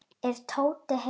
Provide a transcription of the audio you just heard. Er Tóti heima?